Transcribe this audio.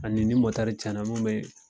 Ani ni cɛn na mun be